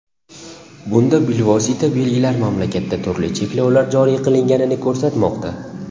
Bunda bilvosita belgilar mamlakatda turli cheklovlar joriy qilinganini ko‘rsatmoqda.